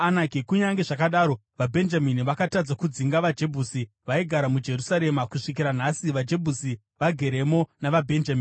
Kunyange zvakadaro, vaBhenjamini vakatadza kudzinga vaJebhusi, vaigara muJerusarema; kusvikira nhasi vaJebhusi vageremo navaBhenjamini.